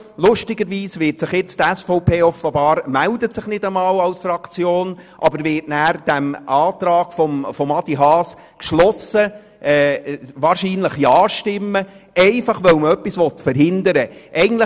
Lustigerweise meldet sich nun die SVP offenbar nicht einmal als Fraktion, aber nachher wird sie dem Antrag Haas wahrscheinlich geschlossen zustimmen, einfach weil man etwas verhindern will.